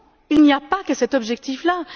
Il n'y a pas que cet objectif là.